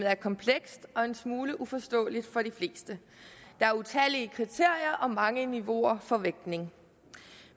er komplekst og en smule uforståeligt for de fleste der er utallige kriterier og mange niveauer for vægtning